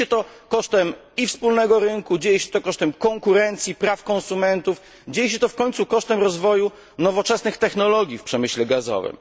Dzieje się to kosztem wspólnego rynku, dzieje się to kosztem konkurencji, praw konsumentów, dzieje się to w końcu kosztem rozwoju nowoczesnych technologii w przemyśle gazowym.